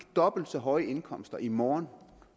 dobbelt så høje indkomster i morgen